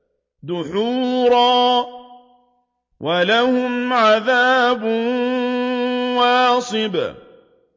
دُحُورًا ۖ وَلَهُمْ عَذَابٌ وَاصِبٌ